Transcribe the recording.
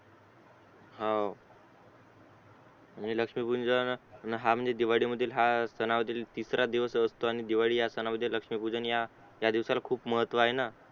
हवं आणि लक्ष्मी पूजनाला न्हा म्हणजे दिवाळी मधील हा सनामधील तिसरा दिवस असतो आणि दिवाळी या सणामध्ये लक्ष्मी पूजन या सणाला खूप महत्व आहे ना